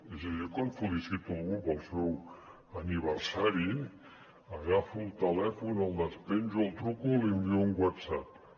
és a dir jo quan felicito algú pel seu aniversari agafo el telèfon el despenjo li truco o li envio un whatsapp